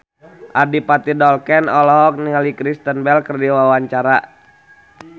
Adipati Dolken olohok ningali Kristen Bell keur diwawancara